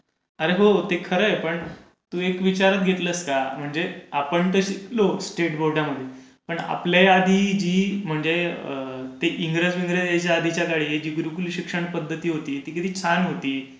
अरे हो. ते खरय पण तू एक विचारात घेतलंस का? म्हणजे आपण तर शिकलो स्टेट बोर्डामध्ये म्हणजे आपल्या आधी जी म्हणजे एंग्रजांच्या आधीच्या काळी गुरुकुल शिक्षण पध्दती होती, ती किती छान होती.